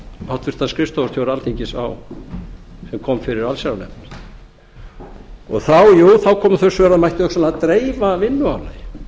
háttvirtur skrifstofustjóra alþingis sem kom fyrir allsherjarnefnd þá komu þá svör að það mætti hugsanlega dreifa vinnuálagi